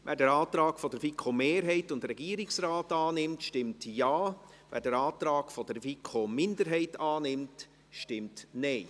Wer den Antrag der FiKo-Mehrheit und des Regierungsrates annimmt, stimmt Ja, wer den Antrag der FiKoMinderheit annimmt, stimmt Nein.